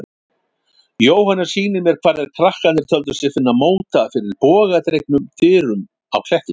Jóhannes sýnir mér hvar þeir krakkarnir töldu sig finna móta fyrir bogadregnum dyrum á klettinum.